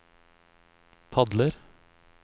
padler